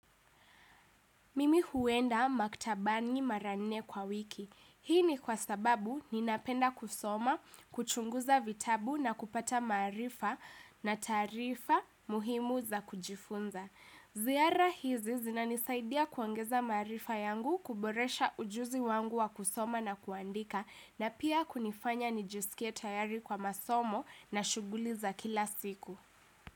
Mimi huenda maktabani mara nne kwa wiki. Hii ni kwa sababu ninapenda kusoma, kuchunguza vitabu na kupata maarifa na taarifa muhimu za kujifunza. Ziara hizi zinanisaidia kuongeza maarifa yangu kuboresha ujuzi wangu wa kusoma na kuandika na pia kunifanya nijisikie tayari kwa masomo na shughuli za kila siku.